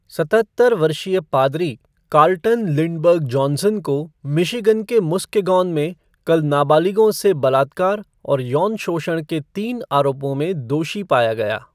सतहत्तर वर्षीय पादरी कार्लटन लिंडबर्ग जॉनसन को मिशिगन के मुस्केगॉन में कल नाबालिगों से बलात्कार और यौन शोषण के तीन आरोपों में दोषी पाया गया।